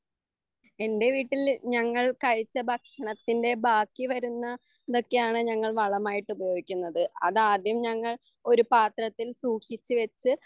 എന്റെ വീട്ടിൽ ഞങ്ങൾ കഴിച്ച ഭക്ഷണത്തിന്റെ ബാക്കിവരുന്ന ഇതൊക്കെയാണ് ഞങ്ങൾ വളമായിട്ട് ഉപയോഗിക്കുന്നത് അത് ആദ്യം ഞങ്ങൾ ഒരു പാത്രത്തിൽ സൂക്ഷിച്ചുവെച്ച്